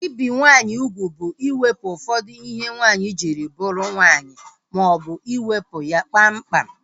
Ibi nwaanyị ugwu bụ iwepụ ụfọdụ ihe nwaanyị jiri bụrụ nwaanyị maọbụ iwepu ya kpam kpam